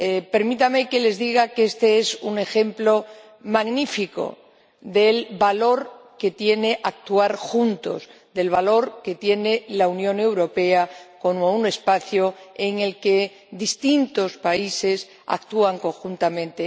Permítanme que les diga que este es un ejemplo magnífico del valor que tiene actuar juntos, del valor que tiene la Unión Europea como un espacio en el que distintos países actúan conjuntamente.